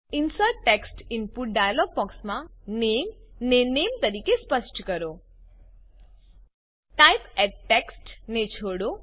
insert text input dialogue બોક્સમાં નામે ને નામે તરીકે સ્પષ્ટ કરો ટાઇપ એટી ટેક્સ્ટ ને છોડો